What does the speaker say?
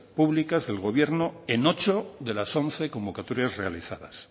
públicas del gobierno en ocho de las once convocatorias realizadas